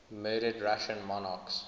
murdered russian monarchs